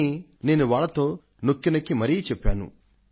ఈ విషయాలను నేను వాళ్లతో నొక్కి నొక్కి మరీ చెప్పాను